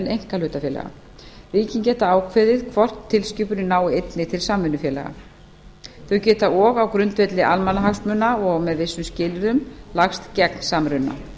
einkahlutafélaga ríkin geta ákveðið hvort tilskipunin nái einnig til samvinnufélaga þau geta og á grundvelli almannahagsmuna og með vissum skilyrðum lagst gegn samruna